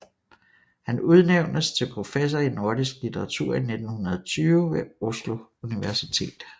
Han udnævnes til professor i nordisk litteratur i 1920 ved Oslo Universitet